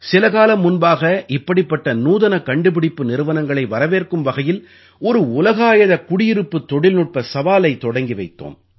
சில காலம் முன்பாக இப்படிப்பட்ட நூதனக் கண்டுபிடிப்பு நிறுவனங்களை வரவேற்கும் வகையில் ஒரு உலகாயத குடியிருப்புத் தொழில்நுட்ப சவாலைத் தொடங்கி வைத்தோம்